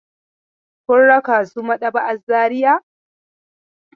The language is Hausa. Kun raka su maɗaba'ar Zariya?